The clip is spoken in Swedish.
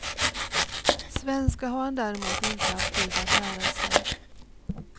Svenska har han däremot inte haft tid att lära sig.